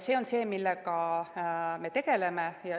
See on see, millega me tegeleme.